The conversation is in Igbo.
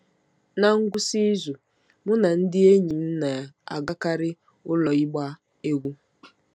Ná ngwụsị izu, mụ na ndị enyi m na-agakarị ụlọ ịgba egwú.